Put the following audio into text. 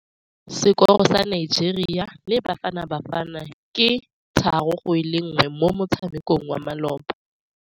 Sekôrô sa Nigeria le Bafanabafana ke 3-1 mo motshamekong wa malôba.